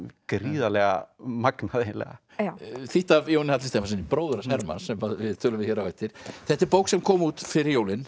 gríðarlega magnað þýtt af Jóni Halli Stefánssyni bróður hans Hermanns sem við tölum við hér á eftir þetta er bók sem kom út fyrir jólin